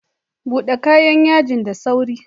Bude kayan yaji da sauri.